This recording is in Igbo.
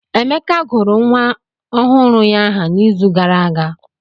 Emeka gụrụ nwa ọhụrụ ya aha n'izu gara aga.